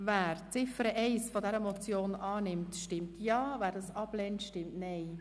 Wer Ziffer 2 dieser Motion annimmt, stimmt Ja, wer dies ablehnt, stimmt Nein.